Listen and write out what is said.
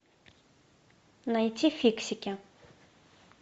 найти фиксики